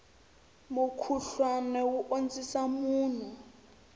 mukhuhlwana wu ondzisa munhu